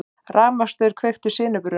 Rafmagnsstaur kveikti sinubruna